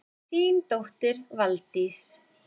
Þín dóttir, Valdís.